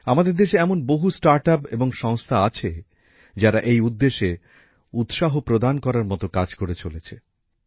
আমাদের দেশে এমন বহু স্টার্টআপ এবং সংস্থা আছে যারা এই উদ্দেশ্যে উৎসাহব্যাঞ্জক কাজ করে চলেছে